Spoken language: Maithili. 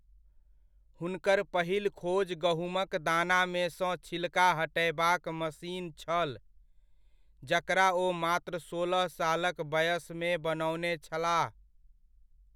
हुनकर पहिल खोज गहुमक दानामे सँ छिलका हटयबाक मशीन छल, जकरा ओ मात्र सोलह सालक बयसमे बनओने छलाह।